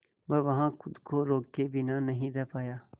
वह वहां खुद को रोके बिना नहीं रह पाया